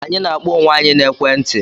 Anyị na-akpọ onwe anyị na ekwe nti